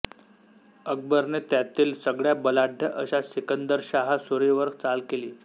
अकबरने त्यातील सगळ्या बलाढ्य अशा सिकंदरशाह सुरी वर चाल केली